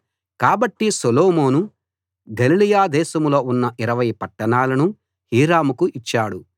కాబట్టి సొలొమోను గలిలయ దేశంలో ఉన్న 20 పట్టణాలను హీరాముకు ఇచ్చాడు